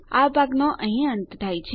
આ ભાગનો અહીં અંત થાય છે